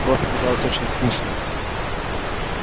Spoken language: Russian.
кровь оказалась очень вкусной